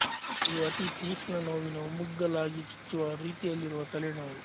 ಇವು ಅತೀ ತೀಕ್ಷ್ಣ ನೋವಿನ ಒಮ್ಮಗ್ಗುಲಾಗಿ ಚುಚ್ಚುವ ರೀತಿಯಲ್ಲಿರುವ ತಲೆ ನೋವು